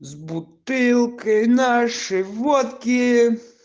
с бутылкой нашей водки